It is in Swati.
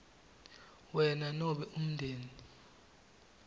wena nobe umndeni